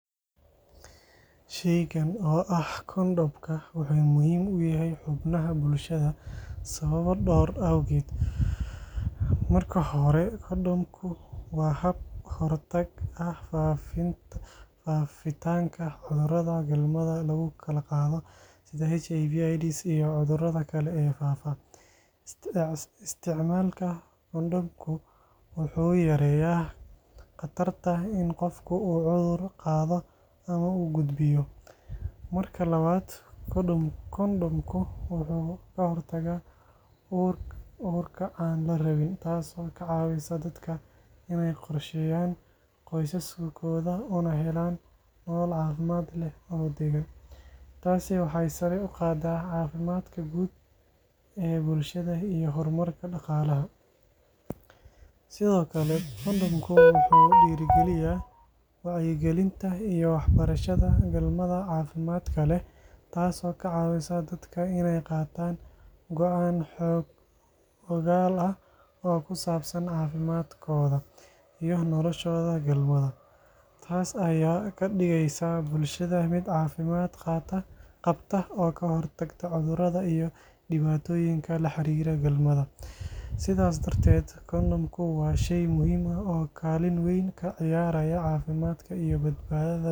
Shaygan oo ah kondhomka, wuxuu muhiim u yahay xubnaha bulshada sababo dhowr ah awgood. Marka hore, kondhomku waa hab ka hortag ah faafitaanka cudurrada galmada lagu kala qaado sida HIV/AIDS iyo cudurrada kale ee faafa. Isticmaalka kondhomku wuxuu yareeyaa khatarta in qofka uu cudur qaado ama uu gudbiyo. Marka labaad, kondhomku wuxuu ka hortagaa uurka aan la rabin, taasoo ka caawisa dadka inay qorsheeyaan qoysaskooda una helaan nolol caafimaad leh oo deggan. Taasi waxay sare u qaadaa caafimaadka guud ee bulshada iyo horumarka dhaqaalaha. Sidoo kale, kondhomka wuxuu dhiirrigeliyaa wacyigelinta iyo waxbarashada galmada caafimaadka leh, taasoo ka caawisa dadka inay qaataan go'aan xog-ogaal ah oo ku saabsan caafimaadkooda iyo noloshooda galmada. Taas ayaa ka dhigaysa bulshada mid caafimaad qabta oo ka hortagta cudurrada iyo dhibaatooyinka la xiriira galmada. Sidaas darteed, kondhomku waa shay muhiim ah oo kaalin weyn ka ciyaara caafimaadka iyo badbaadada bulshada.